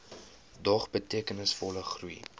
dog betekenisvolle groei